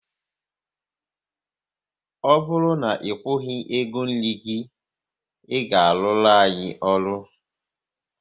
Ọ bụrụ na ị kwughi ego nri gị, ị ga aruru anyị ọrụ!